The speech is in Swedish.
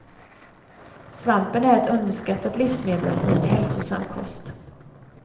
Svampen är ett underskattat livsmedel i en hälsosam kost.